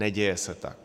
Neděje se tak.